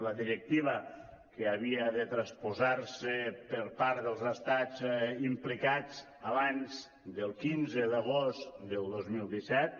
la directiva que havia de transposar se per part dels estats implicats abans del quinze d’agost del dos mil disset